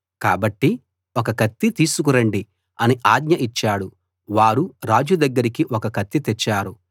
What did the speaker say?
కాబట్టి ఒక కత్తి తీసుకు రండి అని ఆజ్ఞ ఇచ్చాడు వారు రాజు దగ్గరికి ఒక కత్తి తెచ్చారు